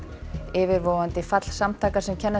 yfirvofandi fall samtakanna sem kenna